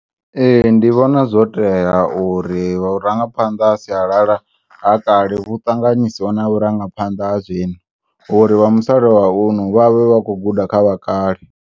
E, ndivhona zwoteya uri vhurangaphanḓa ha sialala ha kale huṱanganisiwe na vhurangaphanḓa ha zwino uri vhamusalauno vha vhe vhakhouguda kha vha kale.